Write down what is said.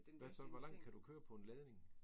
Hvad så hvor langt kan du køre på en ladning?